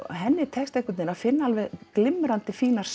henni tekst einhvern veginn að finna alveg glimrandi fínar